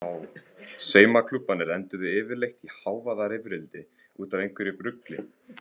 Saumaklúbbarnir enduðu yfirleitt í hávaðarifrildi út af einhverju rugli.